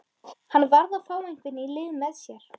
Hann varð að fá einhvern í lið með sér.